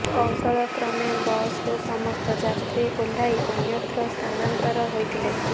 କୌଶଳ କ୍ରମେ ବସରୁ ସମସ୍ତ ଯାତ୍ରୀ ଓହ୍ଲାଇ ଅନ୍ୟତ୍ର ସ୍ଥାନାନ୍ତର ହୋଇଥିଲେ